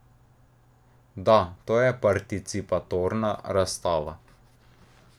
Da, to je participatorna razstava.